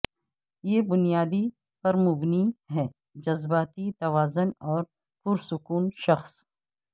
یہ بنیادی پر مبنی ہے جذباتی توازن اور پرسکون شخص